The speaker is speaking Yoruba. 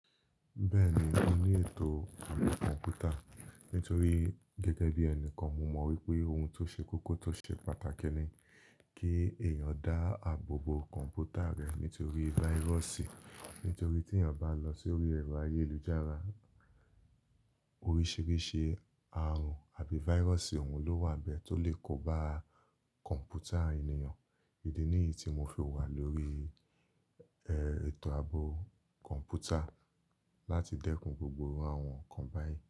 Bẹ́ẹ̀ni, mo ní ètò ààbò kọ̀ǹpútà nítorí gẹ́gẹ́ bí ẹnikan, mo mọ̀ wípé ohun tó ṣe kókó tó ṣe pàtàkì ni kí èèyàn dá àbò bo kọ̀ǹpútà rẹ̀ nítorí váírọ̀sì. Nítorí tí èèyàn bá lọ sórí ẹ̀rọ ayélujára, oríṣìíríṣìí àrùn àbí váírọ̀sì òun ló wà bẹ́ẹ̀ tó lè kó ba kọ̀ǹpútà ènìyàn. Ìdí nìyí tí mo fi wà lórí, ètò ààbò kọ̀ǹpútà láti dẹ́kun gbogbo àwọn nǹkan báyìí.